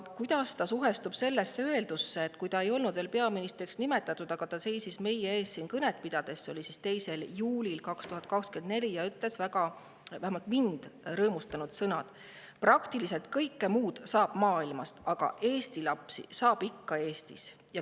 Kuidas ta suhestub sellega, et siis, kui ta ei olnud veel peaministriks nimetatud, aga seisis siin kõnet pidades meie ees – see oli 2. juulil 2024 –, ütles ta vähemalt mind väga rõõmustanud sõnad: "Praktiliselt kõike muud saab maailmast, aga Eesti lapsi saab ikka Eestist.